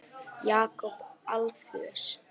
Jakob Alfeusson.